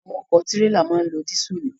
Àwọn ọ̀kọ̀ tírélà náà ń lo dísùlù.